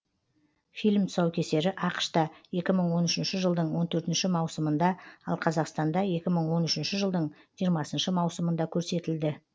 фильм тұсаукесері ақшта екі мың он үшінші жылдың он төртінші маусымында ал қазақстанда екі мың он үшінші жылдың жиырмасыншы маусымында көрсетілді